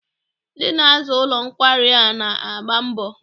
Ndị na-aza ụlọ nkwari a na-agba mbọ.